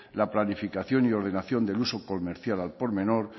la planificación y ordenación del uso comercial al por menor